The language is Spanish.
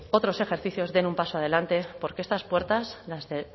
otros ejercicios den un paso adelante porque estas puertas las de